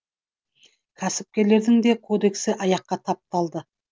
кәсіпкерлердің де кодексі аяққа тапталды